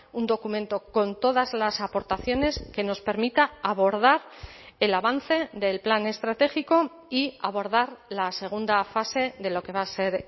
un documento con todas las aportaciones que nos permita abordar el avance del plan estratégico y abordar la segunda fase de lo que va a ser